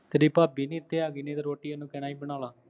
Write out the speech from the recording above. ਤੇਰੀ ਭਾਬੀ ਨਹੀਂ ਇਥੇ ਆ, ਨਹੀਂ ਤਾਂ ਰੋਟੀ ਉਹਨੂੰ ਕਹਿਣਾ ਸੀ ਬਣਾ ਲਾ